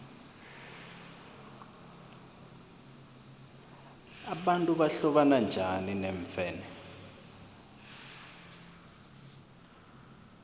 abantu bahlobana bunjani neemfene